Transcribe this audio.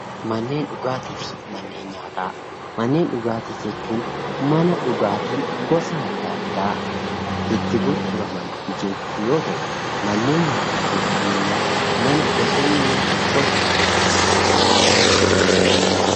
Manneen dhugaatii fi manneen nyaataa: Manneen dhugaatii jechuun mana dhugaatii addaa addaa itti gurguramani jechuu yoo ta'u, manneen nyaataa jechuun immoo mana gosni nyaata addaa addaa itti gurgurmanii dha.